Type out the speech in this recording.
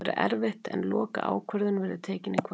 Það verður erfitt en lokaákvörðun verður tekin í kvöld.